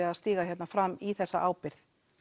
að stíga hérna fram í þessa ábyrgð